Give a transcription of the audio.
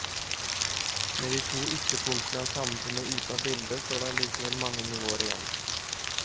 Med de to ytterpunktene av samfunnet ute av bildet, står det allikevel mange nivåer igjen.